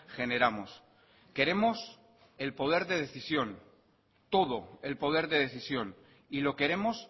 generamos queremos el poder de decisión todo el poder de decisión y lo queremos